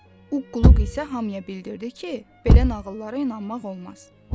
Uqquqluq isə hamıya bildirdi ki, belə nağıllara inanmaq olmaz.